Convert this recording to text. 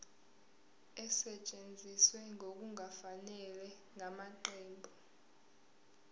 esetshenziswe ngokungafanele ngamaqembu